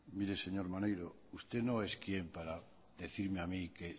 mire señor maneiro usted no es quien para decirme a mí que